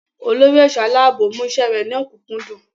Olórí ẹ̀ṣọ́ aláàbò mú iṣẹ́ rẹ̀ ní ọ̀kúnkúndùn.